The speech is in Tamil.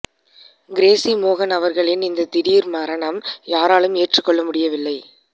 கிரேஸி மோகன் அவர்களின் இந்த திடீர் மரணம் யாராலும் ஏற்றுக்கொள்ள முடியவில்லை